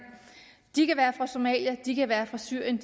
de kan være fra somalia de kan være for syrien